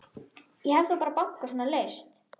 Ég hef þá bara bankað svona laust.